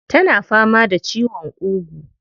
Tana fama da ciwon ƙugu.